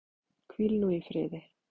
Hvíl nú í friði.